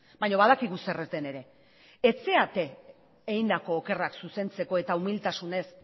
baina badakigu zer ez den ere ez zarete egindako okerrak zuzentzeko eta umiltasunez